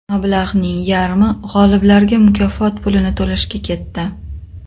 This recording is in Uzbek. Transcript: Mablag‘ning yarmi g‘oliblarga mukofot pulini to‘lashga ketdi.